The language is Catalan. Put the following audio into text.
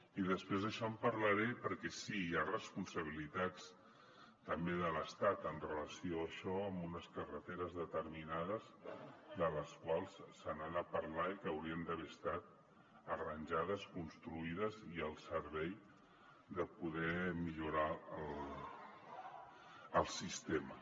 i després d’això en parlaré perquè sí hi ha responsabilitats també de l’estat amb relació a això en unes carreteres determinades de les quals se n’ha de parlar i que haurien d’haver estat arranjades construïdes i al servei de poder millorar el sistema